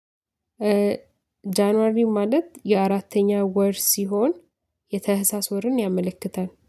ጃንዋሪ ማለት የአራተኛ ወር ሲሆን የታህሳስ ወርን ያመለክታል